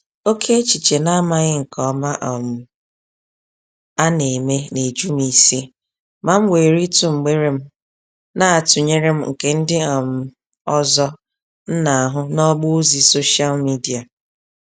Oké echiche na amaghị nke ọma um a neme, nejum isi, ma m were ịtụ mgbere m, na tụnyerem nke ndị um ọzọ m n'ahụ n'ọgbọ ozi social media.